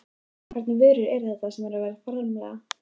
En hvernig vörur eru þetta sem verið er að framleiða?